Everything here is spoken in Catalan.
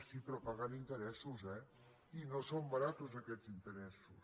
sí però pagant interessos eh i no són barats aquests interessos